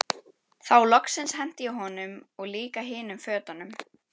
Þá loksins henti ég honum og líka hinum fötunum.